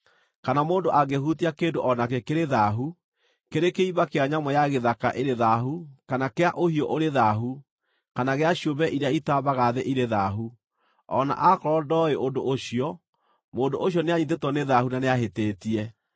“ ‘Kana mũndũ angĩhutia kĩndũ o nakĩ kĩrĩ thaahu, kĩrĩ kĩimba kĩa nyamũ ya gĩthaka ĩrĩ thaahu kana kĩa ũhiũ ũrĩ thaahu, kana gĩa ciũmbe iria itambaga thĩ irĩ thaahu, o na aakorwo ndooĩ ũndũ ũcio, mũndũ ũcio nĩanyiitĩtwo nĩ thaahu na nĩahĩtĩtie.